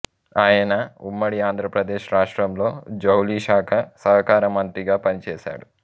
ఆయన ఉమ్మడి ఆంధ్రప్రదేశ్ రాష్ట్రంలో జౌలి శాఖ సహకార మంత్రిగా పని చేశాడు